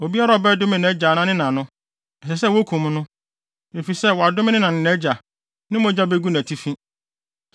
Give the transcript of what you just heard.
“ ‘Obiara a ɔbɛdome nʼagya anaa ne na no, ɛsɛ sɛ wokum no, efisɛ wadome ne na ne nʼagya, ne mogya begu nʼatifi.